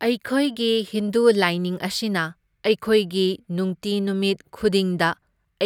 ꯑꯩꯈꯣꯏꯒꯤ ꯍꯤꯟꯗꯨ ꯂꯥꯏꯅꯤꯡ ꯑꯁꯤꯅ ꯑꯩꯈꯣꯏꯒꯤ ꯅꯨꯡꯇꯤ ꯅꯨꯃꯤꯠ ꯈꯨꯗꯤꯡꯗ